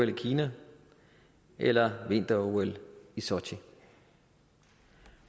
i kina eller vinter ol i sotchi